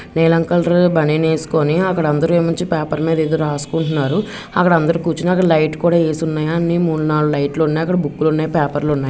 నీలం కలర్ బనీన్ వేసుకొని అక్కడ అందరూ వచ్చి పేపర్ మీద ఏదో రాసుకుంటున్నాడు. అక్కడ అందరూ కూర్చున్నారు లైట్ లు కూడా వేసి ఉన్నాయి అన్ని మూడు నాలుగు లైట్ లు ఉన్నాయి. అక్కడ బుక్కులు ఉన్నాయి పేపర్లు ఉన్నాయి.